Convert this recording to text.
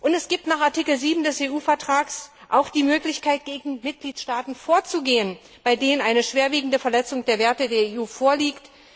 Es gibt nach Artikel 7 des EU Vertrags auch die Möglichkeit, gegen Mitgliedstaaten vorzugehen, bei denen eine schwerwiegende Verletzung der Werte der EU vorliegt.